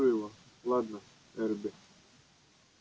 я спрошу его ладно эрби